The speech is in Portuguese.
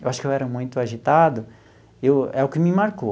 Eu acho que eu era muito agitado, e o é o que me marcou.